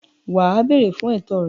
Wà á “ béèrè ” fún ẹ̀tọ́ rẹ.